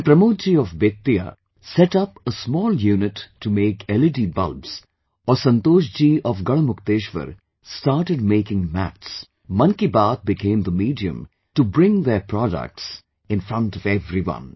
When Pramod ji of Bettiah set up a small unit to make LED bulbs or Santosh ji of Garhmukteshwar started making mats, 'Mann Ki Baat' became the medium to bring their products in front of everyone